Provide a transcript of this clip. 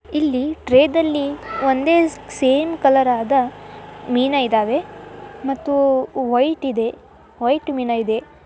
ಇಲ್ಲಿ ಟ್ರೇ ದಲ್ಲಿ ಒಂದೆ ಸೇಮ್ ಕಲರ್ ಆದ ಮೀನ ಇದವೆ ಮತ್ತು ವೈಟ್ ಇದೆ ವೈಟ್ ಮೀನ ಇದೆ.